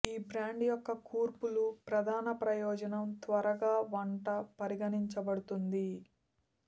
ఈ బ్రాండ్ యొక్క కూర్పులు ప్రధాన ప్రయోజనం త్వరగా వంట పరిగణించబడుతుంది